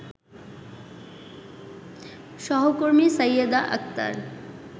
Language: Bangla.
সহকর্মী সাইয়েদা আক্তার